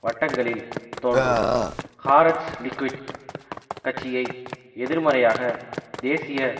வட்டங்களில் தோன்றும் Haaretz Likud கட்சியை எதிர்மறையாக தேசிய